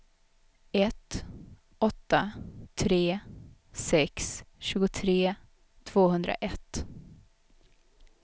ett åtta tre sex tjugotre tvåhundraett